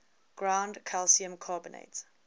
ground calcium carbonate